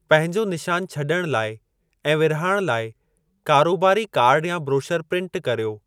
पंहिंजो निशान छॾण लाइ ऐं विरिहाइणु लाइ कारोबारी कार्डु या ब्रोशर प्रिन्ट कर्यो।